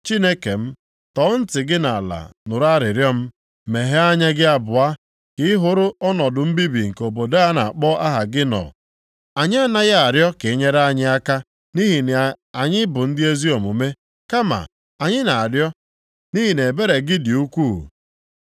Chineke m, tọọ ntị gị nʼala nụrụ arịrịọ m. Meghee anya gị abụọ ka ị hụrụ ọnọdụ mbibi nke obodo a na-akpọ aha gị nọ. Anyị anaghị arịọ ka i nyere anyị aka nʼihi na anyị bụ ndị ezi omume, kama anyị na-arịọ nʼihi na ebere gị dị ukwuu.